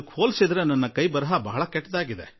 ನನ್ನ ಬರವಣಿಗೆ ಶೈಲಿಯಂತೂ ಬಹಳವೇ ಕೆಟ್ಟದಾಗಿ ಇರುತ್ತದೆ